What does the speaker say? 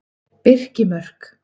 Birkimörk